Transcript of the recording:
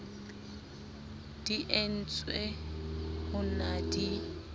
di entswe ho na di